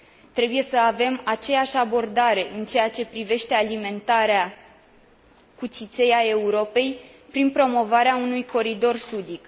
Trebuie să avem aceeași abordare în ceea ce privește alimentarea cu țiței a Europei, prin promovarea unui coridor sudic.